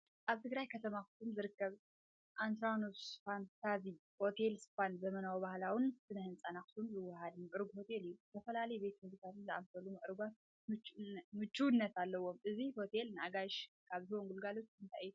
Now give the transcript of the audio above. ኣብ ትግራይ ከተማ ኣኽሱም ዝርከብ፣ ኣትራኖስ ፋንታዚ ሆቴልን ስፓን ዘመናውን ባህላውን ስነ ህንጻ ኣክሱም ዘወሃህድ ምዕሩግ ሆቴል እዩ። ዝተፈላለዩ ቤት መግብታትን ዝኣመሰሉ ምዕሩጋት ምቹእነት ኣለዎ። እዚ ሆቴል ንኣጋይሹ ካብ ዝህቦም ኣገልግሎታት እንታይ እዮም?